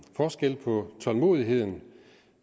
forskel på tålmodigheden